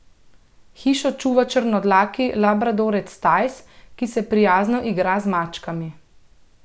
Hišo čuva črnodlaki labradorec Tajs, ki se prijazno igra z mačkami.